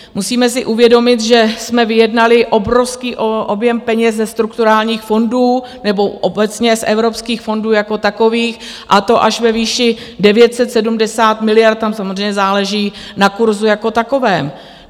Musíme si uvědomit, že jsme vyjednali obrovský objem peněz ze strukturálních fondů nebo obecně z evropských fondů jako takových, a to až ve výši 970 miliard, tam samozřejmě záleží na kurzu jako takovém.